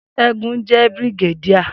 Segun jẹ́ Brigadier